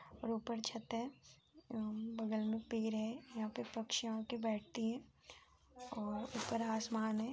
और ऊपर छत है बगल में पेड़ है यहाँ पे पक्षियाँ आके बैठती हैं और ऊपर आसमान है।